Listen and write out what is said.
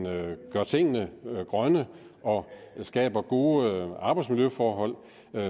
gør tingene grønne og skaber gode arbejdsmiljøforhold